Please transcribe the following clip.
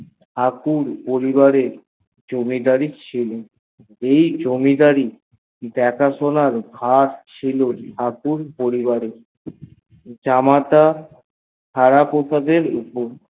ঠাকুর পরিবারে জমিদারি ছিল এই জমিদারি দেখা সোনার ভর ছিল জামাতা নানা ঠাকুরের উপর